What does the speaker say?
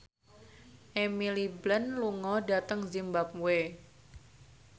Emily Blunt lunga dhateng zimbabwe